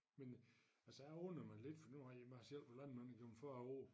Men øh altså jeg undrede mig lidt for nu har jeg mig selv været landmand igennem 40 år